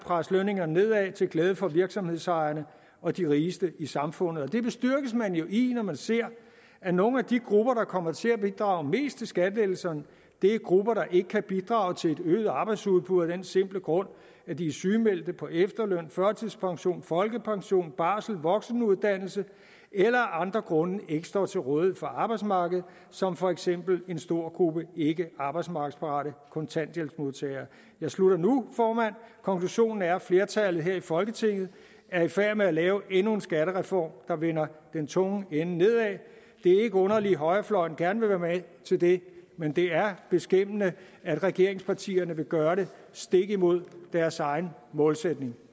presse lønningerne nedad til glæde for virksomhedsejerne og de rigeste i samfundet det bestyrkes man jo i når man ser at nogle af de grupper der kommer til at bidrage mest til skattelettelserne er grupper der ikke kan bidrage til et øget arbejdsudbud af den simple grund at de er sygemeldte på efterløn førtidspension folkepension barsel eller voksenuddannelse eller af andre grunde ikke står til rådighed for arbejdsmarkedet som for eksempel en stor gruppe ikkearbejdsmarkedsparate kontanthjælpsmodtagere jeg slutter nu formand konklusionen er at flertallet her i folketinget er i færd med at lave endnu en skattereform der vender den tunge ende nedad det er ikke underligt at højrefløjen gerne være med til det men det er beskæmmende at regeringspartierne vil gøre det stik imod deres egen målsætning